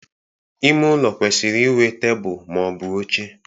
Ime ụlọ kwesịrị ịnwe tebụl ma ọ bụ oche